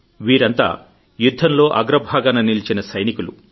వీరంతా యుద్ధంలో అగ్రభాగాన నిల్చిన సైనికులు